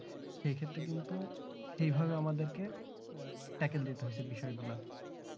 সে ক্ষেত্রে কিন্তু সেই ভাবে আমাদেরকে tackle দিতে হচ্ছে বিষয়গুলো